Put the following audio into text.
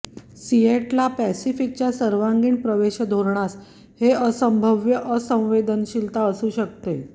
Seattle पॅसिफिकच्या सर्वांगीण प्रवेश धोरणास हे असंभाव्य असंवेदनशीलता असू शकते